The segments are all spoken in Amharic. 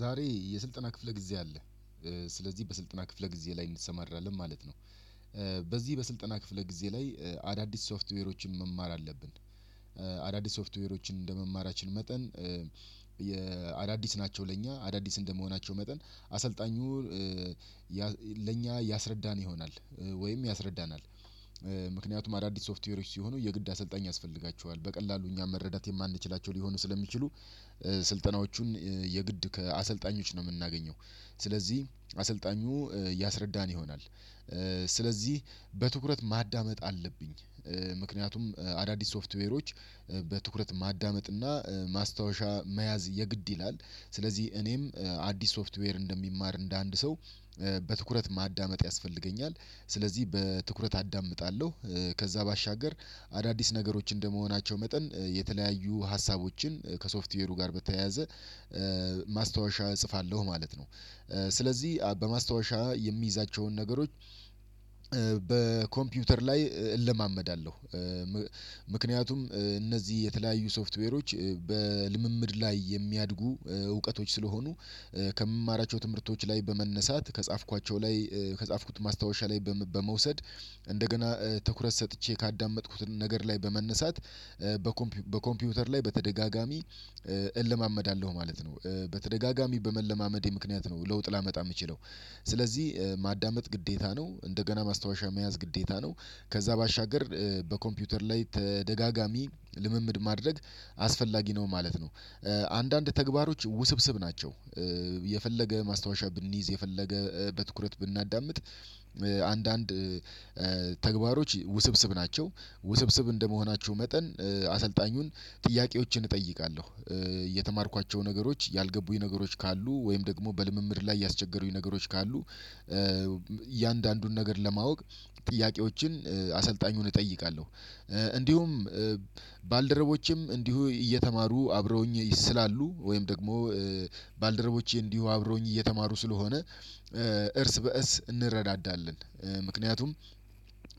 ዛሬ የስልጠና ክፍለ ጊዜ አለ ስለዚህ በስልጠና ክፍለ ጊዜ ላይ እንሰማራለን ማለት ነው። በዚህ በስልጠና ክፍለ ጊዜ ላይ አዳዲስ ሶፍትዌሮችን መማር አለብን። አዳዲስ ሶፍትዌሮችን እንደመማራችን መጠን። የአዳዲስ ናቸው ለእኛ አዳዲስ እንደመሆናቸው መጠን አሰልጣኙ ለእኛ ያስረዳን ይሆናል። ወይም ያስረዳናል ምክንያቱም አዳዲስ ሶፍትዌሮች ሲሆኑ የግድ አሰልጣኝ ያስፈልጋቸዋል በቀላሉ እኛ መረዳት የማንችላቸው ሊሆኑ ስለሚችሉ። ስልጠናዎቹን የግድ ከአሰልጣኞች ነው የምናገኘው ስለዚህ አሰልጣኙ እያስረዳን ይሆናል። ስለዚህ በትኩረት ማዳመጥ አለብኝ። ምክንያቱም አዳዲስ ሶፍትዌሮች በትኩረት ማዳመጥ እና ማስታወሻ መያዝ የግድ ይላል። ስለዚህ እኔም አዲስ ሶፍትዌር እንደሚማር እንደ አንድ ሰው በትኩረት ማዳመጥ ያስፈልገኛል። ስለዚህ በትኩረት አዳምጣለሁ። ከዛ ባሻገር አዳዲስ ነገሮች እንደመሆናቸው መጠን የተለያዩ ሀሳቦችን ከሶፍትዌሩ ጋር በተያያዘ ማስታወሻ እጽፋለሁ ማለት ነው። ስለዚህ በማስታወሻ የምይዛቸውን ነገሮች በኮምፒውተር ላይ እለማመዳለሁ። ምክንያቱም እነዚህ የተለያዩ ሶፍትዌሮች በልምምድ ላይ የሚያድጉ እውቀቶች ስለሆኑ። ከምማራቸው ትምህርቶች ላይ በመነሳት ከጻፍኳቸው ላይ ከጻፍኩት ማስታወሻ ላይ በመውሰድ እንደገና ትኩረት ሰጥቼ ካዳመጥኩት ነገር ላይ በመነሳት በኮምፒውተር ላይ በተደጋጋሚ እለማመዳለሁ ማለት ነው። በተደጋጋሚ በመለማመዴ ምክንያት ነው ለውጥ ላመጣ የምችለው። ስለዚህ ማዳመጥ ግዴታ ነው እንደገና ማስታወሻ መያዝ ግዴታ ነው። ከዛ ባሻገር በኮምፒውተር ላይ ተደጋጋሚ ልምምድ ማድረግ አስፈላጊ ነው ማለት ነው። አንዳንድ ተግባሮች ውስብስብ ናቸው። የፈለገ ማስታወሻ ብንይዝ የፈለገ በትኩረት ብናዳምጥ አንዳንድ ተግባሮች ውስብስብ ናቸው ውስብስብ እንደመሆናቸው መጠን አሰልጣኙን ጥያቄዎችን እጠይቃለሁ። የተማርኳቸው ነገሮች ያልገቡኝ ነገሮች ካሉ ወይም ደግሞ በልምምድ ላይ ያስቸገሩኝ ነገሮች ካሉ። እያንዳንዱን ነገር ለማወቅ ጥያቄዎችን አሰልጣኙን እጠይቃለሁ። እንዲሁም ባልደረቦቼም እንዲሁ እየተማሩ አብረውኝ ስላሉ ወይም ደግሞ ባልደረቦቼ እንዲሁ አብረውኝ እየተማሩ ስለሆነ እርስ በእርስ እንረዳዳለን። ምክንያቱም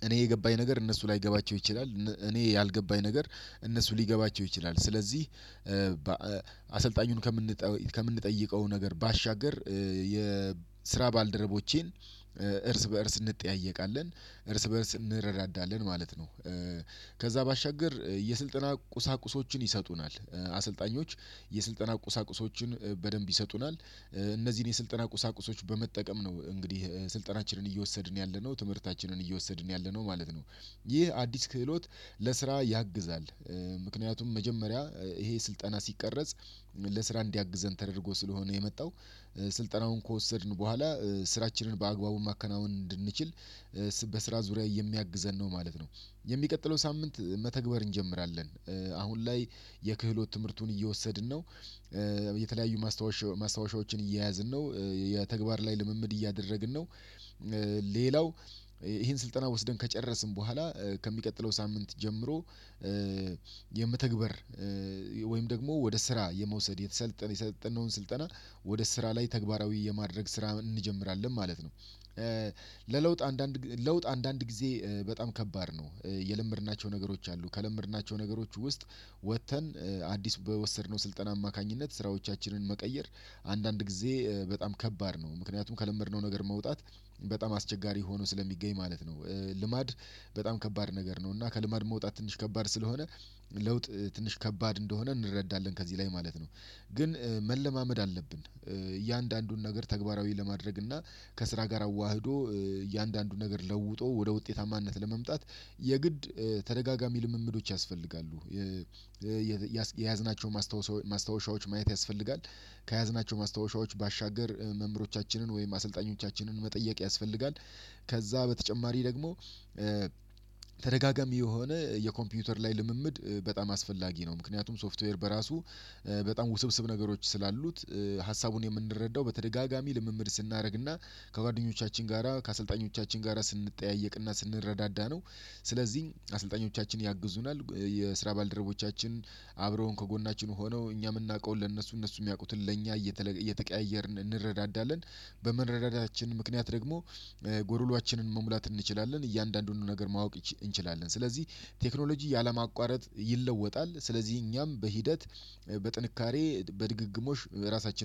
እኔ የገባኝ ነገር እነሱ ላይገባቸው ይችላል እኔ ያልገባኝ ነገር እነሱ ሊገባቸው ይችላል ስለዚህ። አሰልጣኙን ከምንጠ ከምንጠይቀው ነገር ባሻገር የስራ ባልደረቦቼን እርስ በእርስ እንጠያየቃለን እርስ በእርስ እንረዳዳለን ማለት ነው። ከዛ ባሻገር የስልጠና ቁሳቁሶችን ይሰጡናል አሰልጣኞች የስልጠና ቁሳቁሶችን በደንብ ይሰጡናል። እነዚህን የስልጠና ቁሳቁሶች በመጠቀም ነው እንግዲህ ስልጠናችንን እየወሰድን ያለነው ትምህርታችንን እየወሰድን ያለነው ማለት ነው። ይህ አዲስ ክህሎት ለስራ ያግዛል። ምክንያቱም መጀመሪያ ይሄ ስልጠና ሲቀረጽ ለስራ እንዲያግዘን ተደርጎ ስለሆነ የመጣው። ስልጠናውን ከወሰድን በኋላ ስራችንን በአግባቡ ማከናወን እንድንችል በስራ ዙሪያ የሚያግዘን ነው ማለት ነው። የሚቀጥለው ሳምንት መተግበር እንጀምራለን። አሁን ላይ የክህሎት ትምህርቱን እየወሰድን ነው። የተለያዩ ማስታወሻ ማስታወሻዎችን እየያዝን ነው። የተግባር ላይ ልምምድ እያደረግን ነው። ሌላው ይሄን ስልጠና ወስደን ከጨረስን በኋላ ከሚቀጥለው ሳምንት ጀምሮ የመተግበር ወይም ደግሞ ወደ ስራ የመውሰድ የተሰለጠነ የሰለጠነውን ስልጠና ወደ ስራ ላይ ተግባራዊ የማድረግ ስራ እንጀምራለን ማለት ነው። ለለውጥ አንዳንድ ለውጥ አንዳንድ ጊዜ በጣም ከባድ ነው። የለመድናቸው ነገሮች አሉ ከለመድናቸው ነገሮች ውስጥ ወጥተን አዲስ በወሰድነው ስልጠና አማካኝነት ስራዎቻችንን መቀየር አንዳንድ ጊዜ በጣም ከባድ ነው። ምክንያቱም ከለመድነው ነገር መውጣት በጣም አስቸጋሪ ሆኖ ስለሚገኝ ማለት ነው። ልማድ በጣም ከባድ ነገር ነው። እና ከልማድ መውጣት ትንሽ ከባድ ስለሆነ ለውጥ ትንሽ ከባድ እንደሆነ እንረዳለን ከዚህ ላይ ማለት ነው። ግን መለማመድ አለብን እያንዳንዱን ነገር ተግባራዊ ለማድረግ እና ከስራ ጋር አዋህዶ እያንዳንዱን ነገር ለውጦ ወደ ውጤታማነት ለመምጣት የግድ ተደጋጋሚ ልምምዶች ያስፈልጋሉ። የያዝናቸው ማስታወሻዎች ማየት ያስፈልጋል። ከያዝናቸው ማስታወሻዎች ባሻገር መምህሮቻችንን ወይም አሰልጣኞቻችንን መጠየቅ ያስፈልጋል። ከዛ በተጨማሪ ደግሞ ተደጋጋሚ የሆነ የኮምፒውተር ላይ ልምምድ በጣም አስፈላጊ ነው። ምክንያቱም ሶፍትዌር በራሱ በጣም ውስብስብ ነገሮች ስላሉት ሀሳቡን የምንረዳው በተደጋጋሚ ልምምድ ስናደርግ እና ከጓደኞቻችን ጋራ ከአሰልጣኞቻችን ጋራ ስንጠያየቅ እና ስንረዳዳ ነው። ስለዚህ አሰልጣኞቻችን ያግዙናል የስራ ባልደረቦቻችን አብረውን ከጎናችን ሆነው እኛ የምናውቀውን ለእነሱ እነሱ የሚያውቁትን ለእኛ እየተቀያየርን እንረዳዳለን። በመረዳዳታችን ምክንያት ደግሞ ጎዶሎአችንን መሙላት እንችላለን እያንዳንዱን ነገር ማወቅ እንችላለን። ስለዚህ ቴክኖሎጂ ያለማቋረጥ ይለወጣል። ስለዚህ እኛም በሂደት በጥንካሬ በድግግሞሽ ራሳችንን